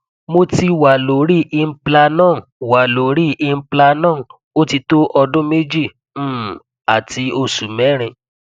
moti wa lori implanon wa lori implanon otito odun meji um ati osu merin